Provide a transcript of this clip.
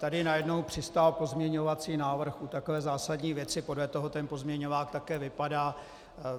Tady najednou přistál pozměňovací návrh u takové zásadní věci, podle toho ten pozměňovák také vypadá.